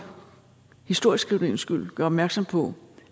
historieskrivningens skyld gøre opmærksom på